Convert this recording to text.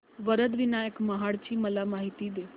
वरद विनायक महड ची मला माहिती दे